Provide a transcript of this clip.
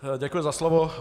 Děkuji za slovo.